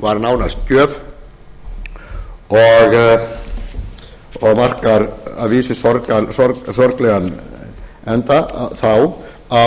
var nánast gjöf og markar að vísu sorglegan enda þá á